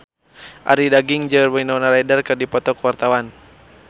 Arie Daginks jeung Winona Ryder keur dipoto ku wartawan